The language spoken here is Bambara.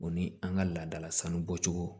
O ni an ka laadala sanu bɔcogo